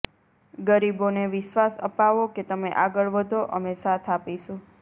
ગરીબોને વિશ્વાસ અપાવો કે તમે આગળ વધો અમે સાથ આપીશું